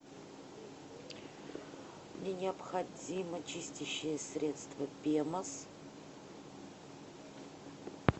мне необходимо чистящее средство пемос